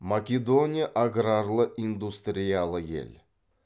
македония аграрлы индустриялы ел